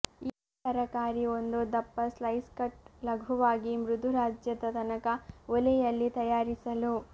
ಈ ತರಕಾರಿ ಒಂದು ದಪ್ಪ ಸ್ಲೈಸ್ ಕಟ್ ಲಘುವಾಗಿ ಮೃದು ರಾಜ್ಯದ ತನಕ ಒಲೆಯಲ್ಲಿ ತಯಾರಿಸಲು